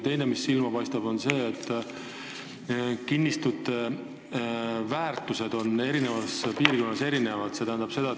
Teiseks hakkab silma, et kinnistute väärtused on eri piirkondades erinevad.